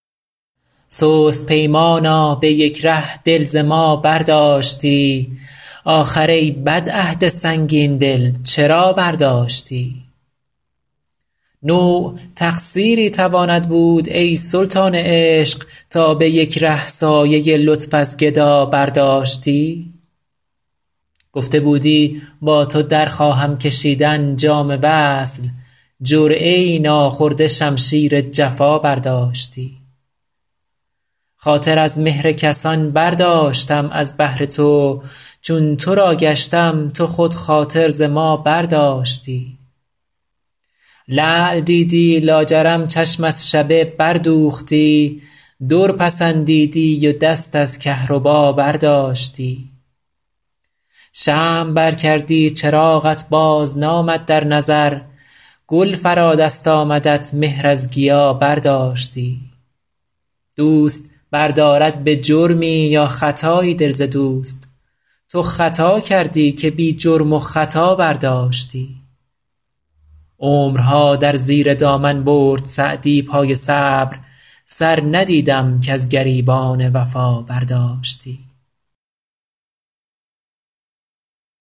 سست پیمانا به یک ره دل ز ما برداشتی آخر ای بد عهد سنگین دل چرا برداشتی نوع تقصیری تواند بود ای سلطان عشق تا به یک ره سایه لطف از گدا برداشتی گفته بودی با تو در خواهم کشیدن جام وصل جرعه ای ناخورده شمشیر جفا برداشتی خاطر از مهر کسان برداشتم از بهر تو چون تو را گشتم تو خود خاطر ز ما برداشتی لعل دیدی لاجرم چشم از شبه بردوختی در پسندیدی و دست از کهربا برداشتی شمع بر کردی چراغت بازنامد در نظر گل فرا دست آمدت مهر از گیا برداشتی دوست بردارد به جرمی یا خطایی دل ز دوست تو خطا کردی که بی جرم و خطا برداشتی عمرها در زیر دامن برد سعدی پای صبر سر ندیدم کز گریبان وفا برداشتی